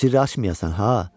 Bu sirri açmayasan ha.